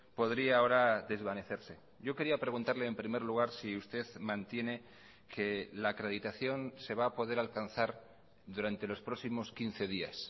podría ahora desvanecerse yo quería preguntarle en primer lugar si usted mantiene que la acreditación se va a poder alcanzar durante los próximos quince días